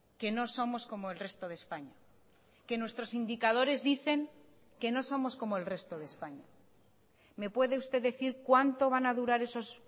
que no somos como el resto de españa que nuestros indicadores dicen que no somos como el resto de españa me puede usted decir cuánto van a durar esos